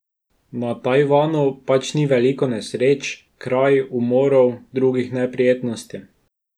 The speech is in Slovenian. Na Tajvanu pač ni veliko nesreč, kraj, umorov, drugih neprijetnosti.